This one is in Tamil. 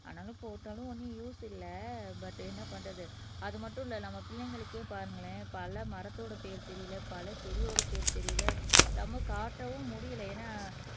ஆனாலும் போட்டாலும் ஒண்ணும் யூஸ் இல்லை பட் என்ன பண்றது அது மட்டும் இல்லை நம்ம பிள்ளைங்களுக்கே பாருங்களேன் பல மரத்தோட பேர் தெரியலே பல செடியோட பேர் தெரியலே நம்ம காட்டவும் முடியலை ஏன்னா